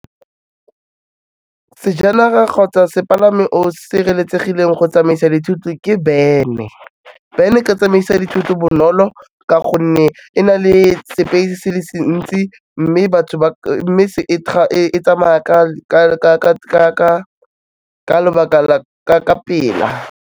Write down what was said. Sejanaga kgotsa sepalamo sireletsegileng go tsamaisa dithoto ke van-e. Van-e e ka tsamaisa dithoto bonolo ka gonne e na le space-e se le se ntsi mme e tsamaya ka lobaka, ka pela.